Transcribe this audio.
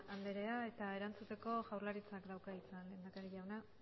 andrea eta erantzuteko jaurlaritzak dauka hitza lehendakari jauna